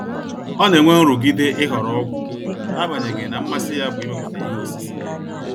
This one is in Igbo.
Ọ na-enwe nrụgide ịhọrọ ọgwụ, n'agbanyeghi na mmasi ya bụ imepụta ihe osise.